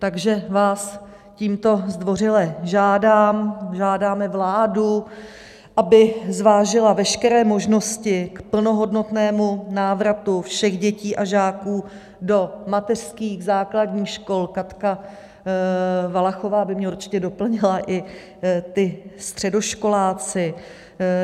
Takže vás tímto zdvořile žádám, žádáme vládu, aby zvážila veškeré možnosti k plnohodnotnému návratu všech dětí a žáků do mateřských, základních škol, Katka Valachová by mě určitě doplnila, i ti středoškoláci.